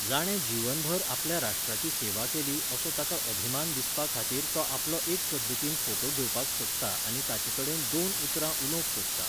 जाणें जिवनभर आपल्या राष्ट्राची सेवा केली असो ताका अभिमान दिसपा खातीर तो आपलो एक पद्धतीन फोटो घेवपाक सोदता आनी ताचे कडेन दोन उतरां उलोवंक सोदता